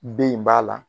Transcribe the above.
B in b'a la